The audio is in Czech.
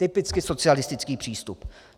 Typicky socialistický přístup.